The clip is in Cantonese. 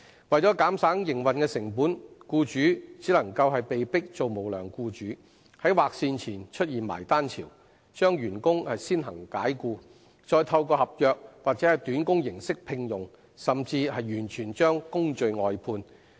為減省營運成本，僱主只能被迫當"無良僱主"，在劃線前出現"埋單潮"，把員工先行解僱，再透過合約或短工形式聘用，甚至完全把工序外判。